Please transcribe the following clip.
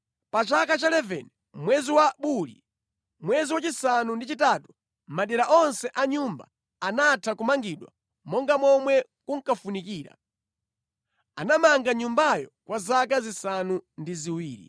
Pa chaka cha 11 mwezi wa Buli, mwezi wachisanu ndi chitatu, madera onse a Nyumba anatha kumangidwa monga momwe kunkafunikira. Anamanga Nyumbayo kwa zaka zisanu ndi ziwiri.